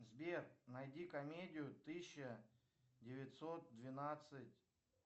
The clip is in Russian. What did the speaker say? сбер найди комедию тысяча девятьсот двенадцать